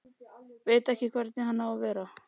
Veit ekki hvernig hann á að vera.